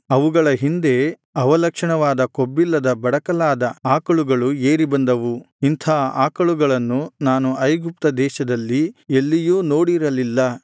ಅವುಗಳ ಹಿಂದೆ ಅವಲಕ್ಷಣವಾದ ಕೊಬ್ಬಿಲ್ಲದ ಬಡಕಲಾದ ಆಕಳುಗಳು ಏರಿ ಬಂದವು ಇಂಥ ಆಕಳುಗಳನ್ನು ನಾನು ಐಗುಪ್ತದೇಶದಲ್ಲಿ ಎಲ್ಲಿಯೂ ನೋಡಿರಲಿಲ್ಲ